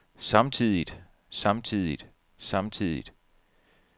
samtidigt samtidigt samtidigt